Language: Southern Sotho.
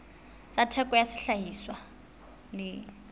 tsa theko ya sehlahiswa le